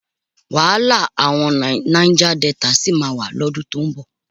Wàhálà àwọn Náíjá Delta sì máa wà lọ́dún tó ń bọ̀.